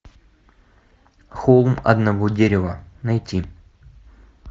холм одного дерева найти